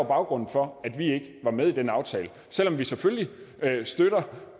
baggrunden for at vi ikke var med i den aftale selv om vi selvfølgelig støtter